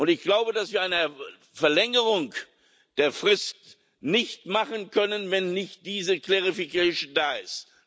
Ich glaube, dass wir eine Verlängerung der Frist nicht machen können, wenn nicht diese Klarstellung da ist.